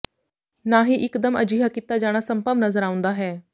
ਨਾ ਹੀ ਇਕਦਮ ਅਜਿਹਾ ਕੀਤਾ ਜਾਣਾ ਸੰਭਵ ਨਜ਼ਰ ਆਉਂਦਾ ਹੈ